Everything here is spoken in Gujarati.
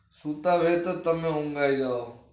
સુતા રહેતા જ તમને ઊંઘ આઈ જાય